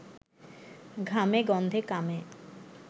ঘামে গন্ধে, কামে